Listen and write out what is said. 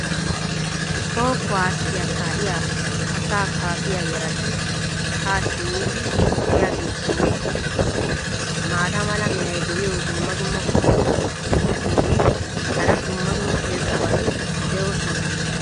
Toho kuwaasssiya kaa'iya asaa kaafiya yarati haa simmidi yiyaageetinne maata mala meray diyo dumma dumma qommo mitattinne hara dumma dumma irxxabati de'oosona.